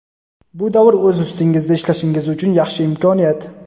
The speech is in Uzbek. Bu davr o‘z ustingizda ishlashingiz uchun yaxshi imkoniyat.